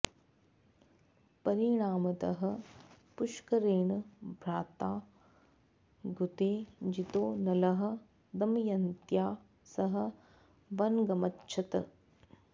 परिणामतः पुष्करेण भ्रात्रा द्यूते जितो नलः दमयन्त्या सह वनमगच्छत्